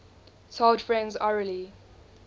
told friends orally